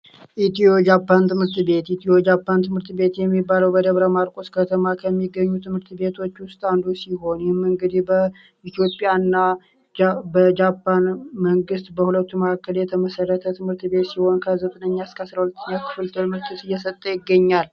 ኢትዮ ጃፓን ትምህርት የሚባለው በደብረማርቆስ ከተማ ከሚገኙ ትምህርት ቤቶች ውስጥ አንዱ ሲሆን በኢትዮጵያ ና በጃፓን በሁለቱ ማዕከል ስምምነት የተመሰረተ ትምህርት ቤት ሲሆን ከ9ኛ_12ኛ ደረጃ እየሰጠ ይገኛል